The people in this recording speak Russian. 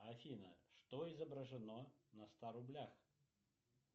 афина что изображено на ста рублях